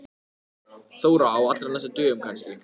Þóra: Á allra næstu dögum kannski?